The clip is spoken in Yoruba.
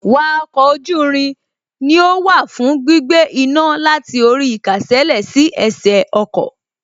Wa oko oju irin ni ó wà fún gbígbé iná láti orí īkásèlé sí ẹsẹ̀ ọkọ̀